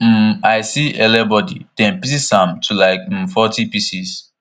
um i see ele body dem pieces am to like um forty pieces